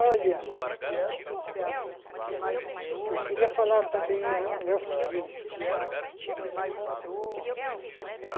Olha... Eu queria falar também é é o seguinte.